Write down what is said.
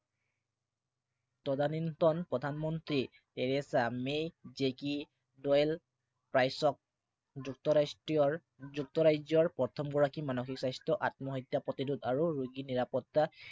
তদানীন্তন প্ৰধানমন্ত্ৰী Theresa May জেকি যুক্তৰাজ্য়ৰ প্ৰথমগৰাকী মানসিক স্বাস্থ্য় আত্মহত্যা প্ৰতিৰোধ আৰু ৰোগী নিৰাপত্তা